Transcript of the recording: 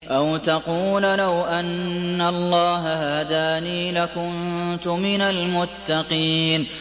أَوْ تَقُولَ لَوْ أَنَّ اللَّهَ هَدَانِي لَكُنتُ مِنَ الْمُتَّقِينَ